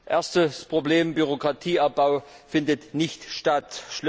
Erstes Problem Bürokratieabbau findet nicht statt.